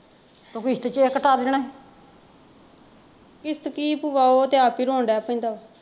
ਉਹ ਕਿਸ਼ਤ ਚ ਕਟਾ ਦੇਣਾ ਸੀ।